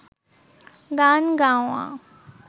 গান গাওয়া